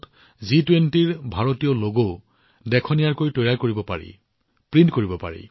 জি২০ৰ ভাৰতীয় লগটো কাপোৰৰ ওপৰত অতি নিমজভাৱে আড়ম্বৰপূৰ্ণভাৱে প্ৰিণ্ট কৰিব পাৰি